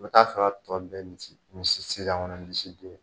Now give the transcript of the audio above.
I bɛ t'a sɔrɔ a tɔ bɛɛ sisan kɔnɔ misi do